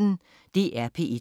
DR P1